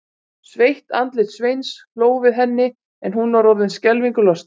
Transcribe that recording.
Sveitt andlit Sveins hló við henni en hún var orðin skelfingu lostin.